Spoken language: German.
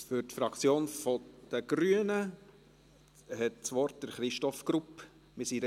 Für die Fraktion der Grünen hat Christoph Grupp das Wort.